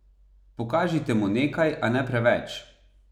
Pokažite mu nekaj, a ne preveč.